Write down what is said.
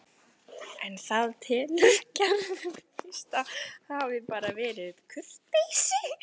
En það telur Gerður víst að hafi bara verið kurteisi.